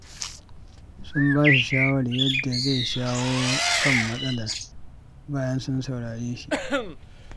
Sun ba shi shawarar yadda zai shawo kan matsalar, bayan sun saurare shi.